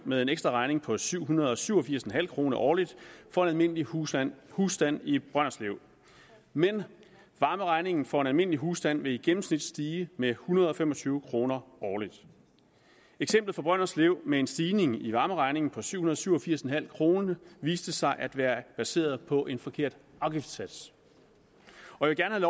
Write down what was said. med en ekstraregning på syv hundrede og syv og firs kroner årligt for en almindelig husstand husstand i brønderslev men varmeregningen for en almindelig husstand vil i gennemsnit stige med en hundrede og fem og tyve kroner årligt eksemplet fra brønderslev med en stigning i varmeregningen på syv hundrede og syv og firs kroner viste sig at være baseret på en forkert afgiftssats jeg vil gerne